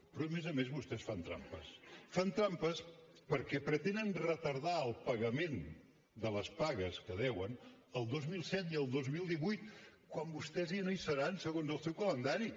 però a més a més vostès fan trampes fan trampes perquè pretenen retardar el pagament de les pagues que deuen al dos mil disset i al dos mil divuit quan vostès ja no hi seran segons el seu calendari